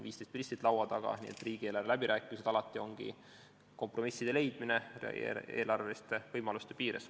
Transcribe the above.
15 ministrit on laua taga, riigieelarve läbirääkimised ongi alati kompromisside leidmine eelarveliste võimaluste piires.